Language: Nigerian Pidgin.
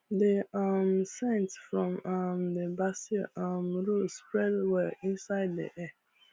the um scent from um the basil um row spread well inside the air